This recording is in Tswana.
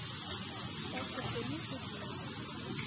ka se kgone go dira